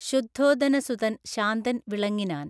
ശുദ്ധൊദനസുതൻ ശാന്തൻ വിളങ്ങിനാൻ